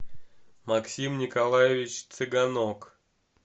максим николаевич цыганок